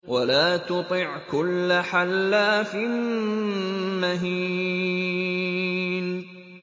وَلَا تُطِعْ كُلَّ حَلَّافٍ مَّهِينٍ